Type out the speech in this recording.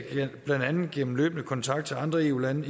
blandt andet gennem løbende kontakt til andre eu lande